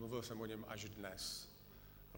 Mluvil jsem o něm až dnes.